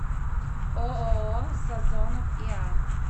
ооо сазонов иа